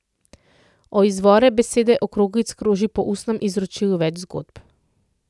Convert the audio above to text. O izvoru besede Okroglic kroži po ustnem izročilu več zgodb.